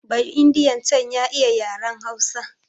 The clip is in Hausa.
Ba'indiyan can ya iya yaren Hausa